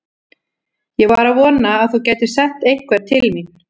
Ég var að vona að þú gætir sent einhvern til mín.